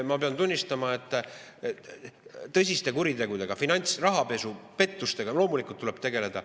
Ma pean tunnistama, et tõsiste kuritegudega – finantspettused, rahapesu – loomulikult tuleb tegeleda.